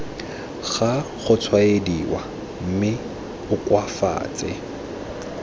ga gotshwaediwa mme o koafatse